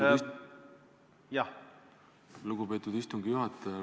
Aitäh, lugupeetud istungi juhataja!